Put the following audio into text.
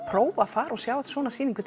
prófa að fara og sjá svona sýningu